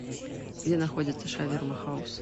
где находится шаверма хаус